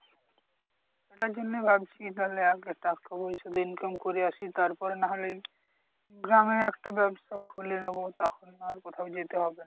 তাই জন্য ভাবছি তাহলে আগে টাকা পয়সা তো income করে আসি তারপরে না হলে গ্রামেই একটা ব্যাবসা খুলে নেবো তখন না হয় কোথাও যেতে হবে না